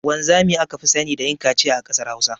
Wanzami aka fi sani da yin kaciya a kasar hausa.